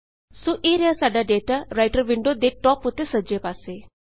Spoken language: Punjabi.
ਸੋ ਇਹ ਰਿਹਾ ਸਾਡਾ ਡੇਟਾ ਰਾਈਟਰ ਵਿੰਡੋ ਤੇ ਟਾਪ ਉੱਤੇ ਸੱਜੇ ਪਾਸੇ